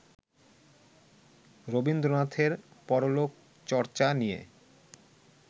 রবীন্দ্রনাথের পরলোকচর্চা নিয়ে